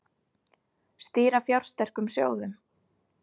Stýra fjársterkum sjóðum